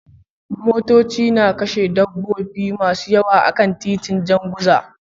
Motoci na kashe dabbobi masu yawa akan titin Jan Guza